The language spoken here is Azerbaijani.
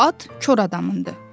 At kor adamındır.